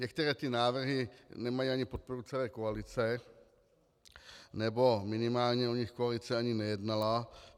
Některé ty návrhy nemají ani podporu celé koalice, nebo minimálně o nich koalice ani nejednala.